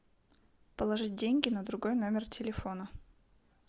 положить деньги на другой номер телефона